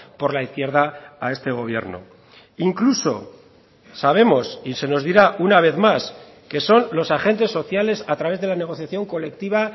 por la izquierda a este gobierno incluso sabemos y se nos dirá una vez más que son los agentes sociales a través de la negociación colectiva